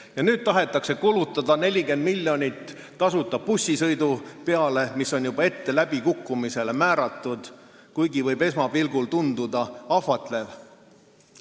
Ja nüüd tahetakse kulutada 40 miljonit tasuta bussisõidu peale, mis on juba ette läbikukkumisele määratud, kuigi võib esmapilgul tunduda ahvatlev.